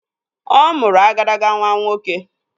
Ọ mụrụ agadaga nwa nwoke